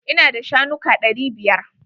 Ina da shanuka ɗari biyar.